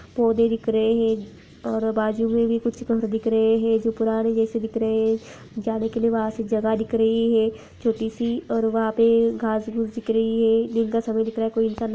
पौधे दिख रहे हैं और बाजू में भी कुछ घर दिख रहे हैं जो पुराने जैसे दिख रहे हैं जाने के लिए वहां से जगह दिख रही है छोटी सी और वहां पे घास-फूस दिख रही है दिन का समय दिख रहा है कोई इंसान --